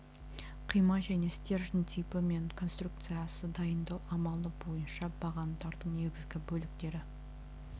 қима және стержень типі мен конструкциясы дайындау амалы бойынша бағандардың негізгі бөліктері